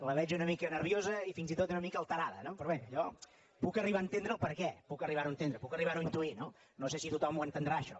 la veig una mica nerviosa i fins i tot una mica alterada no però bé jo puc arribar a entendre el perquè puc arribar ho a entendre puc arribar ho a intuir no no sé si tothom ho entendrà això